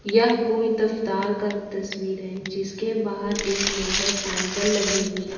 यह कोई दफ्तार का तस्वीर है जिसके बाहर एक मोटरसाइकिल लगी हुई है।